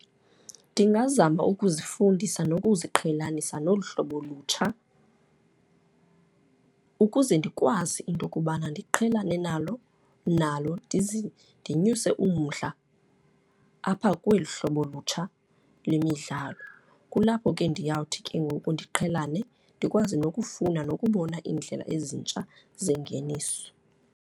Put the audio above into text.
Ndingazama ukuzifundisa nokuziqhelanisa nolu hlobo lutsha ukuze ndikwazi into okubana ndiqhelane nalo nalo, ndinyuse umdla apha kweli hlobo lutsha lemidlalo. Kulapho ke ndiyawuthi ke ngoku ndiqhelane, ndikwazi nokufuna nokubona iindlela ezintsha zengeniso.